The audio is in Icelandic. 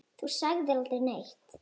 Þú sagðir aldrei neitt.